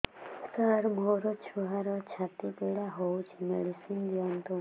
ସାର ମୋର ଛୁଆର ଛାତି ପୀଡା ହଉଚି ମେଡିସିନ ଦିଅନ୍ତୁ